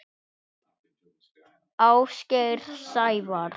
Ásgeir Sævar.